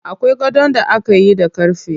Akwai gadon da akayi da ƙarfe.